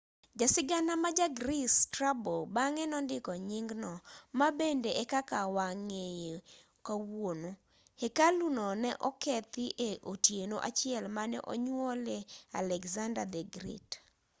jasigana ma ja greece strabo bang'e nondiko nyingno ma bende e kaka wang'eye kawuono hekalu no ne okethi e otieno achiel mane onyuolie alexander the great